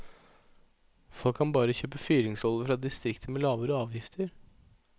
Folk kan bare kjøpe fyringsolje fra distrikter med lavere avgifter.